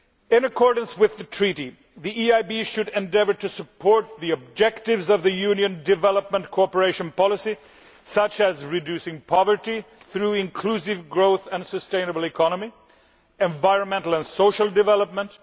In accordance with the Treaty, the EIB should endeavour to support the objectives of the Union's development cooperation policy, such as by reducing poverty through inclusive growth and sustainable economy and environmental and social development.